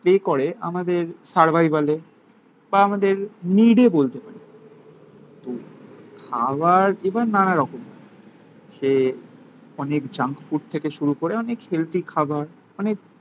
Play করে আমাদের সার্ভাইভালে. বা আমাদের নিডে বলতে পারি. খাওয়ার এবার নানা রকম সে অনেক জাঙ্কফুড থেকে শুরু করে, অনেক হেলদি খাবার. অনেক